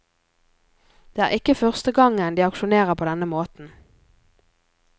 Det er ikke første gangen de aksjonerer på denne måten.